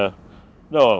á